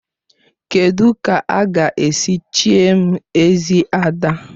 Kedụ ka a ga-esi chie m Ezi Ada?